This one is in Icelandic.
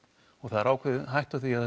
og það er ákveðin hætta á því að